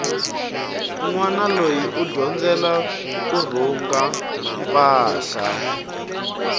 nwana loyi u dyondzela kurhunga mpahla